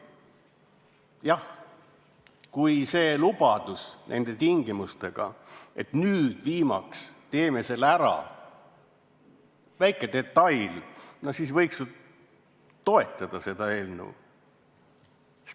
Jah, kui see lubadus nende tingimustega, et nüüd viimaks teeme selle ära – väike detail –, no siis võiks ju toetada seda eelnõu.